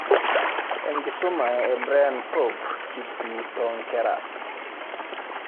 Enkisuma e Brian Pop kiti toonkera